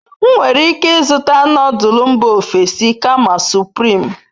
M nwere ike izuta nodul mba ofesi kama supirim